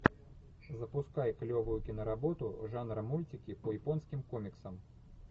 запускай клевую киноработу жанра мультики по японским комиксам